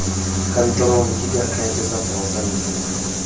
kantorong ke diakhaefe tsa porofense